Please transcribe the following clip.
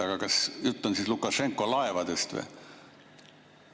Aga kas jutt on Lukašenko laevadest või?